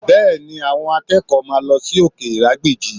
Bẹ́ẹ̀ni, àwọn akẹ́kọ̀ọ́ máa lọ sí òkè ìrágbìjí